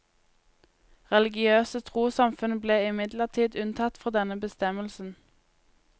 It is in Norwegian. Religiøse trossamfunn ble imidlertid unntatt fra denne bestemmelsen.